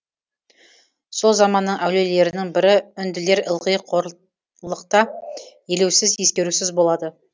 сол заманның әулиелерінің бірі үнділер ылғи қорлықта елеусіз ескерусіз болады